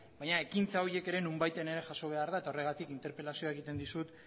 baina ekintza horiek ere nonbaiten jaso behar da eta horregatik interpelazioa egiten dizut